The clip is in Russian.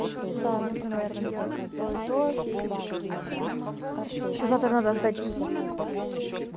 да нужно наверное делать и то и то ещё завтра надо сдать химию